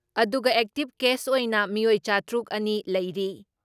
ꯑꯗꯨꯒ active case ꯑꯣꯏꯅ ꯃꯤꯑꯣꯏ ꯆꯥꯇ꯭ꯔꯨꯛ ꯑꯅꯤ ꯂꯩꯔꯤ ꯫